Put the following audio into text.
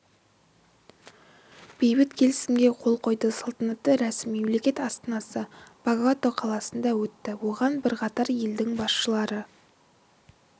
бейбіт келісімге қол қойды салтанатты рәсім мемлекет астанасы богота қаласында өтті оған бірқатар елдің басшылары